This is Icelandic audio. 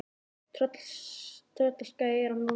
Tröllaskagi er á Norðurlandi.